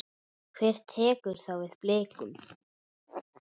Hver tekur þá við Blikum?